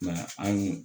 Mɛ an ye